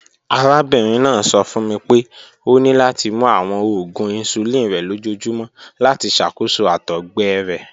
Arabinrin naa sọ fun mi pe o ni lati mu awọn oògùn insulin rẹ lojoojumọ lati ṣakoso àtọgbẹ rẹ